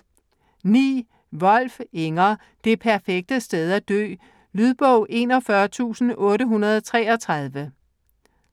Wolf, Inger: Det perfekte sted at dø Lydbog 41833